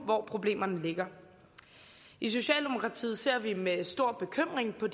hvor problemerne ligger i socialdemokratiet ser vi med stor bekymring på